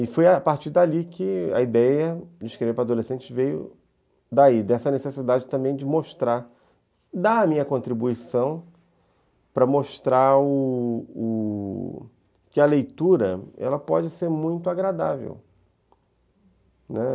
E foi a partir dali que a ideia de escrever para adolescentes veio daí, dessa necessidade também de mostrar, dar a minha contribuição para mostrar o o o que a leitura pode ser muito agradável.